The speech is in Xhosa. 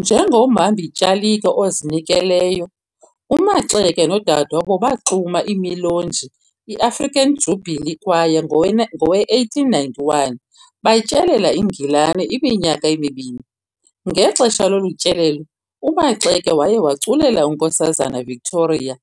Njengomhambi-tyalike ozinekeleyo, uMaxeke nodade wabo baxuma imiloji iAfrican Jubilee Choir ngowe-1891 batyelela iNgilani iminyaka emibini. Ngexesha lolu tyelelo, uMaxeke waye waculela uNkosazana Victoria